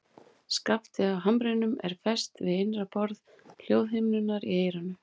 Skaftið á hamrinum er fest við innra borð hljóðhimnunnar í eyranu.